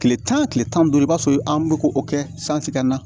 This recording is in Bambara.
Tile tan tile tan ni duuru i b'a sɔrɔ an bɛ ko o kɛ na